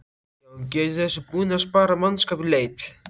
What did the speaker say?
Jóhann: Getur þessi búnaður sparað mannskap í leit?